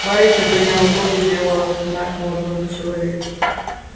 барышня подняла голову и сделала знак молодому человеку